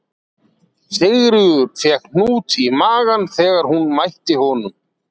Sigríður fékk hnút í magann þegar hún mætti honum